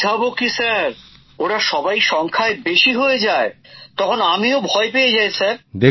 বোঝাবো কি ওরা সবাই সংখ্যায় বেশি হয়ে যায় স্যার তখন আমিও ভয় পেয়ে যাই স্যার